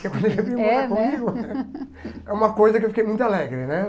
Porque quando ele veio morar comigo... É uma coisa que eu fiquei muito alegre, né?